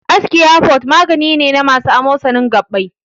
Arthocare forte magani ne na masu amosanin gaɓɓai.